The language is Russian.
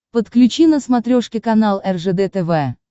подключи на смотрешке канал ржд тв